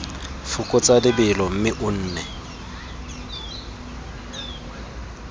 fokotsa lebelo mme o nne